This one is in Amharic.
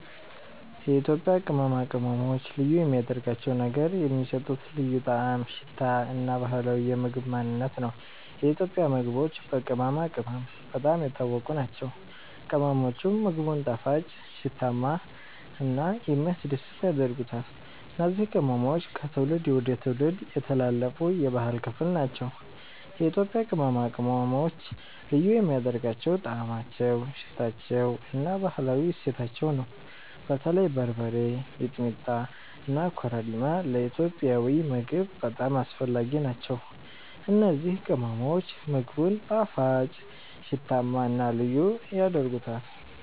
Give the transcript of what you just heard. የኢትዮጵያ ቅመማ ቅመሞች ልዩ የሚያደርጋቸው ነገር የሚሰጡት ልዩ ጣዕም፣ ሽታ እና ባህላዊ የምግብ ማንነት ነው። የኢትዮጵያ ምግቦች በቅመማ ቅመም በጣም የታወቁ ናቸው፤ ቅመሞቹም ምግቡን ጣፋጭ፣ ሽታማ እና የሚያስደስት ያደርጉታል። እነዚህ ቅመሞች ከትውልድ ወደ ትውልድ የተላለፉ የባህል ክፍል ናቸው። የኢትዮጵያ ቅመማ ቅመሞች ልዩ የሚያደርጋቸው ጣዕማቸው፣ ሽታቸው እና ባህላዊ እሴታቸው ነው። በተለይ በርበሬ፣ ሚጥሚጣ እና ኮረሪማ ለኢትዮጵያዊ ምግብ በጣም አስፈላጊ ናቸው። እነዚህ ቅመሞች ምግቡን ጣፋጭ፣ ሽታማ እና ልዩ ያደርጉታል።